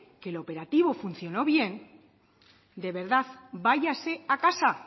que el operativo funcionó bien de verdad váyase a casa